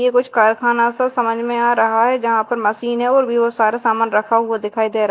ये कुछ कारखाना सा समझ में आ रहा है जहां पर मशीने और भी सारा सामान रखा हुआ दिखाई दे र--